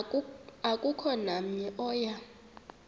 akukho namnye oya